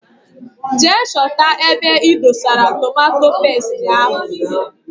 Jee chọta ebe idosara tomato pestie ahụ!!!!!